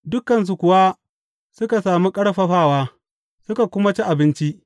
Dukansu kuwa suka sami ƙarfafawa, suka kuma ci abinci.